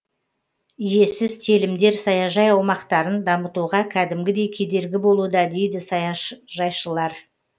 иесіз телімдер саяжай аумақтарын дамытуға кәдімгідей кедергі болуда дейді саяжайшылар